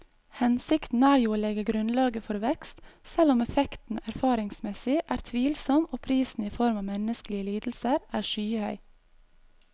Hensikten er jo å legge grunnlaget for vekst, selv om effekten erfaringsmessig er tvilsom og prisen i form av menneskelige lidelser er skyhøy.